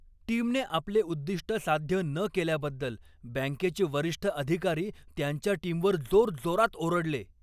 टीमने आपले उद्दिष्ट साध्य न केल्याबद्दल बँकेचे वरिष्ठ अधिकारी त्यांच्या टीमवर जोरजोरात ओरडले.